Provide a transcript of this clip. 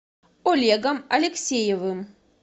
олегом алексеевым